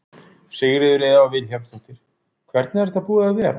Sigríður Elva Vilhjálmsdóttir: Hvernig er þetta búið að vera?